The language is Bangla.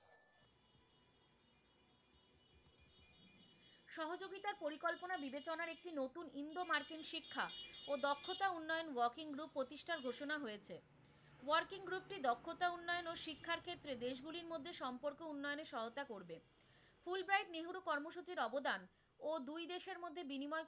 শিক্ষা ও দক্ষতা উন্নয়ন working group প্রতিষ্ঠার ঘোষণা হয়েছে, working group টি দক্ষতা উন্নয়ন ও শিক্ষার ক্ষেত্রে দেশগুলির মধ্যে সম্পর্ক উন্নয়নে সহয়তা করবে, ফুলব্রাইট নেহেরু কর্মসূচির অবদান ও দুই দেশের মধ্যে বিনিময়,